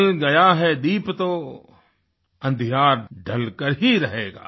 जल गया है दीप तो अँधियार ढलकर ही रहेगा